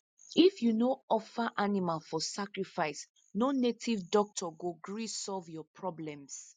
if u no offer animal for sacrifice no native doctor go gree solve your problems